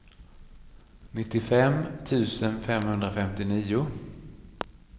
nittiofem tusen femhundrafemtionio